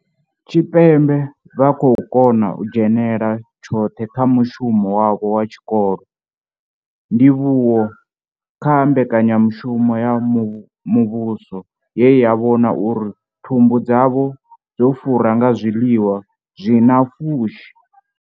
Tshipembe vha khou kona u dzhenela tshoṱhe kha mushumo wavho wa tshikolo, ndivhuwo kha mbekanyamushumo ya muvhuso ye ya vhona uri thumbu dzavho dzo fura nga zwiḽiwa zwi na pfushi.